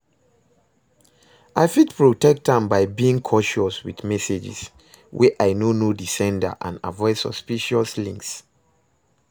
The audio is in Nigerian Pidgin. i fit protect am by being cautious with messages, wey i no know di sender and avoid suspicious links.